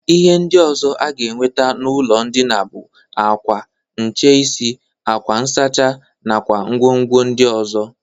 Ihe ndị ọzọ aga enwete n'ụlọ ndịna bụ akwa, ncheisi, akwa nsachi nakwa ngwongwo ndị ọzọ.